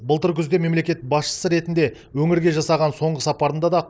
былтыр күзде мемлекет басшысы ретінде өңірге жасаған соңғы сапарында да